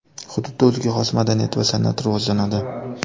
Hududda o‘ziga xos madaniyat va san’at rivojlanadi .